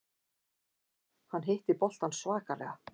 Hann hitti boltann svakalega.